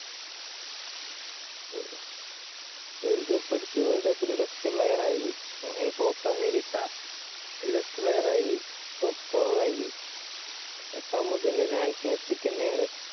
ഹും world cup അടിച്ചു. world cup ല് best player ആയി. ഹ് copa america, അയില് best player ആയി. top scorer ആയി. ഇതൊക്കാവുമ്പൊ പിന്നെ chance മെസ്സിക്കന്നാണ്.